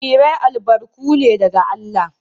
Jarirai albarku ne daga Allah